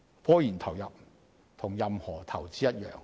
科研投入與任何投資一樣，均會產生風險。